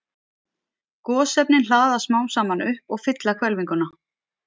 Gosefnin hlaðast smám saman upp og fylla hvelfinguna.